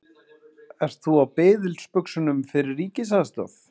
Ert þú á biðilsbuxunum fyrir ríkisaðstoð?